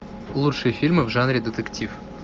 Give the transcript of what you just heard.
лучшие фильмы в жанре детектив